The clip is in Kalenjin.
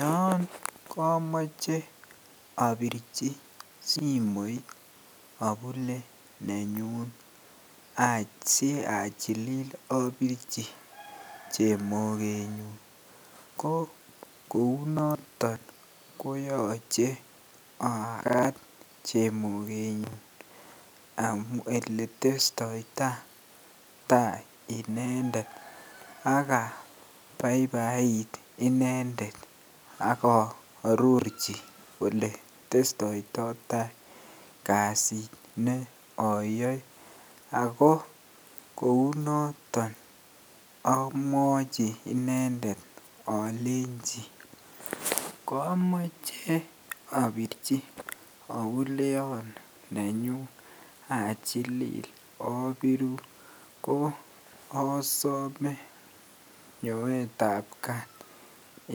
Yoon komoche obirchi simoit abule nenyun asii achilil obirchi chemokenyun ko kounoton koyoche akaat chemokenyun eletestoitai tai inendet ak abaibait inendet ak ororchi oletestoita kasit nee oyoe ak ko kounoton omwochi inendet olenchi komoche obirchi obuleyon nenyun achilil abirun ko osome nyoetab kaat